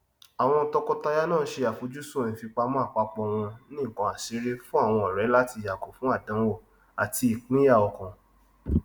àwon tọkọtaya náà se àfojúsùn ìfipamọ àpapọ wọn ní ǹkan àsírí fún àwọn ọrẹ láti yàgò fún àdánwò àti ìpínyàọkàn